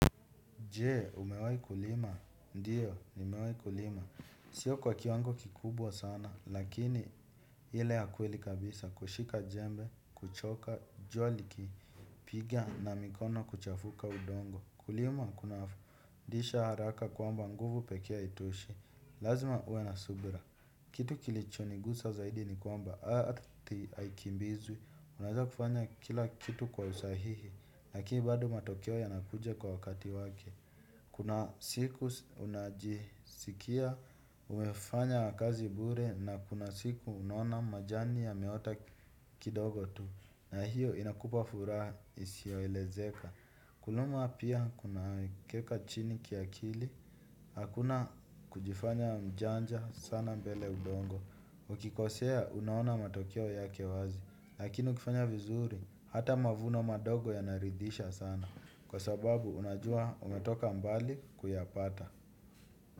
Jee, umewai kulima. Ndiyo, nimewai kulima. Sio kwa kiwango kikubwa sana, lakini hile ya kweli kabisa. Kushika jembe, kuchoka, jua likipigia na mikono kuchafuka udongo. Kulima, kuna fundisha haraka kwamba nguvu pekee haitoshi. Lazima uwe na subira. Kitu kilichonigusa zaidi ni kwamba. Arthi haikimbizwi. Unaweza kufanya kila kitu kwa usahihi. Lakini bado matokeo yanakuja kwa wakati wake. Kuna siku unajisikia umefanya kazi bure na kuna siku unaona majani yameota kidogo tu. Na hiyo inakupa furaha isio elezeka. Kuluma pia kuna keka chini kiakili. Hakuna kujifanya mjanja sana mbele ya udongo. Ukikosea unaona matokeo yake wazi. Lakini ukifanya vizuri hata mavuno madogo yanaridhisha sana. Kwa sababu unajua umetoka mbali kuyapata.